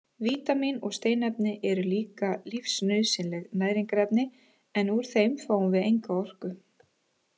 Vítamín og steinefni eru líka lífsnauðsynleg næringarefni en úr þeim fáum við enga orku.